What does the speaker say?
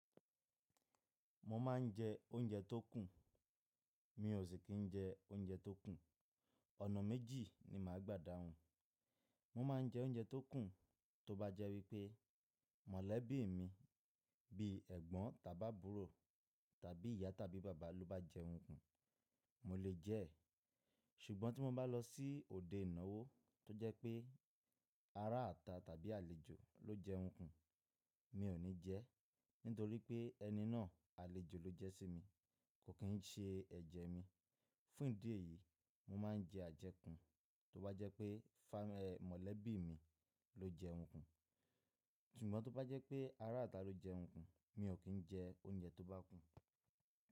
Mo ma n jẹ oúnjẹ tó kùn, mi ò sì kí n jẹ oúnjẹ tó kùn, ọ̀nà méjì ni màá gbà dáhùn. Mo ma n jẹ oúnjẹ tó kùn, tó bá jẹ́ wípé mọ̀lẹ́bí mi bí ẹ̀gbọ́n tàbí àbúrò tàbí ìyá tàbí bàbá ló bá jẹun kùn mo lè jẹ́ ẹ̀. Ṣùgbọ́n tí mo bá lọ sí òde ìnáwó tó jẹ́ pé ará ata tàbí àlejò ló jẹun kùn mi ò ní jẹ́ ẹ́, nítorí pé ẹni náà àlejò ló jẹ́ sí mi, kò kín ṣe ẹ̀jẹ̀ mi. Fún ìdí èyí, mo ma n jẹ àjẹkùn tó bá jẹ́ pé mọ̀lẹ́bí mi ló jẹun kùn. Ṣùgbọ́n tó bá jẹ́ pé ará ata ló jẹun kùn, mi ò kín jẹ oúnjẹ tó bá kùn.